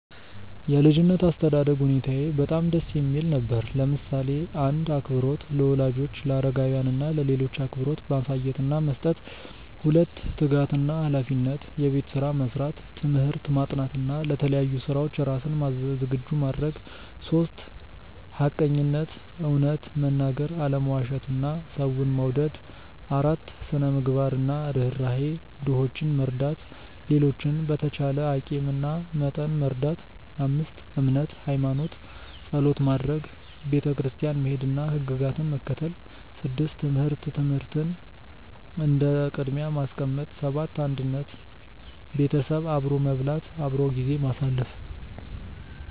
የ ልጅነት አስተዳደግ ሁኔታየ በጣም ደስ የሚል ነበር፣ ለምሳሌ :- 1. አክብሮት - ለወላጆች፣ ለአረጋውያን እና ለሌሎች አክብሮት ማሳየት እና መስጠት 2· ትጋት እና ሃላፊነት - የቤት ስራ መስራት፣ ትምህርት ማጥናት እና ለተለያዩ ስራዎች ራስን ዝግጁ ማድረግ 3· ሐቀኝነት - እውነት መናገር፣ አለመዋሸት እና ሰውን መውደድ 4· ስነ -ምግባር እና ርህራሄ - ድሆችን መርዳት፣ ሌሎችን በተቻለ አቂም እና መጠን መርዳት 5· እምነት (ሃይማኖት) - ጸሎት ማድረግ፣ ቤተክርስቲያን መሄድ እና ሕግጋትን መከተል 6· ትምህርት - ትምህርትን እንደ ቅድሚያ ማስቀመጥ 7· አንድነት - ቤተሰብ አብሮ መብላት፣ አብሮ ጊዜ ማሳለፍ